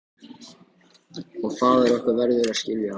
Og faðir okkar verður að skilja það.